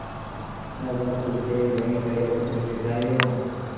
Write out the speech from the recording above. तब वह कुछ देर वहीं खड़े होकर मिठाइयों